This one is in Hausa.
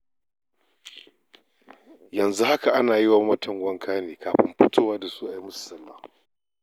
Yanzu haka ana yiwa mamatan wanka ne, kafin fito da su a yi musu salla.